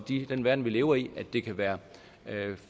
i den verden vi lever i at det kan være